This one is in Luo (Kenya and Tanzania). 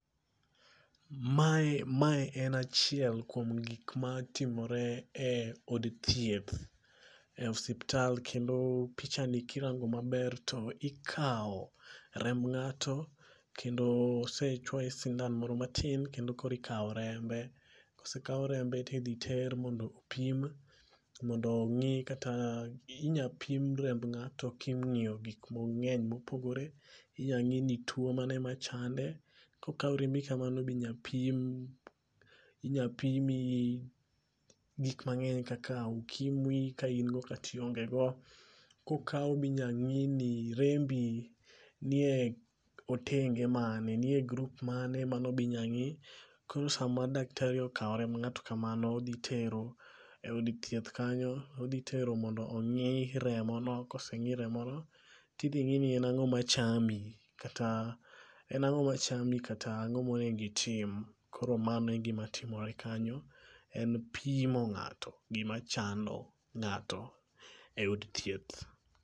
Mae mae en achiel kuom gik ma timore e od thieth, e osiptal kendo pichani kirango maber to ikawo remb ng'ato kendo osechwoye sindan moro matin kendo kori kawo rembe. Kosekaw rembe tidhi ter mondo opim mondo ong'i kata inya pim remb ng'ato king'iyo gik mang'eny mopogore inya ng'i ni tuo mane machande. Kokaw rembi kamano be inya pim inya pim gik mang'eny kaka ukimwi ka in go kata ionge go. Kokaw be inya ng'i ni rembi njie otenge mane nie grup ,ane bi inya ng'i . Koro sama daktari okawo remb ng'ato kamano odhi tero eod thieth kanyo odhi tero mondo ong'i remono koseng'i remono idhi ngi ni ango machami ango machami kata an'go monego itim. Koro mano e gima timore kanyo en pimo ng'ato gima chando ng'ato e od thieth.